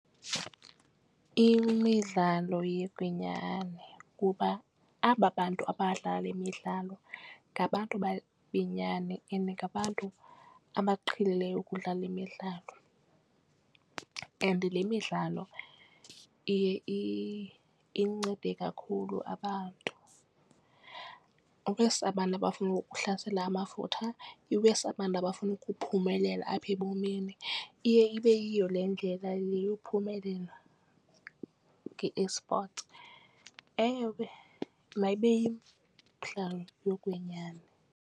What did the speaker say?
Iyimidlalo yokwenyani kuba aba bantu abadlala le midlalo ngabantu benyani and ngabantu abaqhelileyo ukudlala le midlalo. And le midlalo iye incede kakhulu abantu iwesi abantu abafuna ukuhlasela amafutha iwesi abantu abafuna ukuphumelela apha ebomini. Iye ibe yiyo le ndlela yokuphumelela nge-esport, enye ke mayibe yimidlalo yokwenyani.